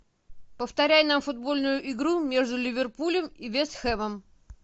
повторяй нам футбольную игру между ливерпулем и вест хэмом